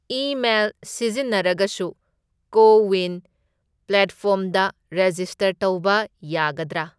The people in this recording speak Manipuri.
ꯏꯃꯦꯜ ꯁꯤꯖꯤꯟꯅꯔꯒꯁꯨ ꯀꯣ ꯋꯤꯟ ꯄ꯭ꯂꯦꯠꯐꯣꯔꯝꯗ ꯔꯦꯖꯤꯁꯇꯔ ꯇꯧꯕ ꯌꯥꯗꯗ꯭ꯔꯥ?